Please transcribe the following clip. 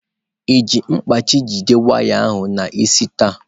Ị ji mkpachị jide waya ahụ n'isi taa?